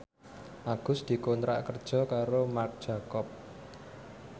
Agus dikontrak kerja karo Marc Jacob